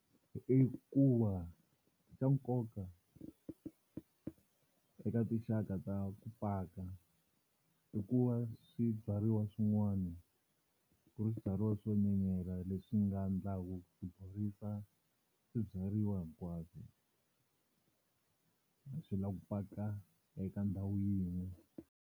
I ku va xa nkoka eka tinxaka ta ku paka i ku va swibyariwa swin'wana ku ri swibyariwa swo nyenyela leswi nga endlaka ku borisa swibyariwa hinkwaswo a swi lavi ku paka eka ndhawu yin'we.